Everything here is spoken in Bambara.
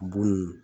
Buru